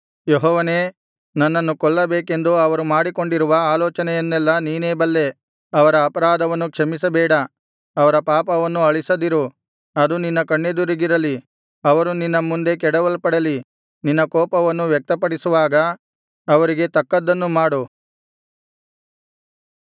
ಯೆಹೋವನೇ ನನ್ನನ್ನು ಕೊಲ್ಲಬೇಕೆಂದು ಅವರು ಮಾಡಿಕೊಂಡಿರುವ ಆಲೋಚನೆಯನ್ನೆಲ್ಲಾ ನೀನೇ ಬಲ್ಲೆ ಅವರ ಅಪರಾಧವನ್ನು ಕ್ಷಮಿಸಬೇಡ ಅವರ ಪಾಪವನ್ನು ಅಳಿಸದಿರು ಅದು ನಿನ್ನ ಕಣ್ಣೆದುರಿಗಿರಲಿ ಅವರು ನಿನ್ನ ಮುಂದೆ ಕೆಡವಲ್ಪಡಲಿ ನಿನ್ನ ಕೋಪವನ್ನು ವ್ಯಕ್ತಪಡಿಸುವಾಗ ಅವರಿಗೆ ತಕ್ಕದ್ದನ್ನು ಮಾಡು